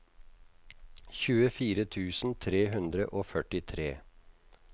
tjuefire tusen tre hundre og førtitre